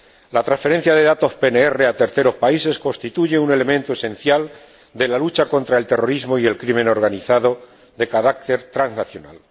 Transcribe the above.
La transferencia de datos PNR a terceros países constituye un elemento esencial de la lucha contra el terrorismo y el crimen organizado de carácter transnacional.